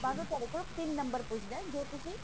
ਬਾਅਦ ਉਹ ਤੁਹਾਡੇ ਤੋਂ ਤਿੰਨ ਨੰਬਰ ਪੁੱਛਦਾ ਜੋ ਤੁਸੀਂ